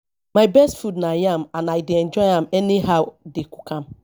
my best food na yam and i dey enjoy am anyhow dey cook am